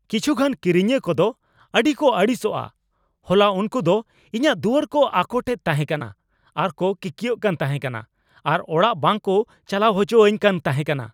ᱠᱤᱪᱷᱩᱜᱟᱱ ᱠᱤᱨᱤᱧᱤᱭᱟᱹ ᱠᱚᱫᱚ ᱟᱹᱰᱤ ᱠᱚ ᱟᱹᱲᱤᱥᱚᱜᱼᱟ ᱾ ᱦᱚᱞᱟ ᱩᱝᱠᱩ ᱫᱚ ᱤᱧᱟᱹᱜ ᱫᱩᱣᱟᱹᱨ ᱠᱚ ᱟᱠᱳᱴ ᱮᱫ ᱛᱟᱦᱮᱸ ᱠᱟᱱᱟ ᱟᱨ ᱠᱚ ᱠᱤᱠᱭᱟᱹᱜ ᱠᱟᱱ ᱛᱟᱦᱮᱸᱠᱟᱱᱟ, ᱟᱨ ᱚᱲᱟᱜ ᱵᱟᱝ ᱠᱩ ᱪᱟᱞᱟᱣ ᱚᱪᱚ ᱟᱧ ᱠᱟᱱ ᱛᱟᱦᱮᱸ ᱠᱟᱱᱟ !